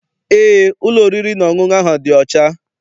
Eé, ụlọ oriri na ọṅụṅụ ahụ dị ọcha.